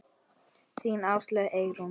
Þín Áslaug Eyrún.